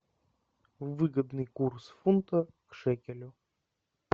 выгодный курс фунта к шекелю